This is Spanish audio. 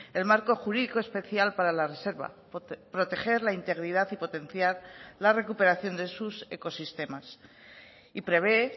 el marco jurídico especial para la reserva proteger la integridad y potenciar la recuperación de sus ecosistemas y prevé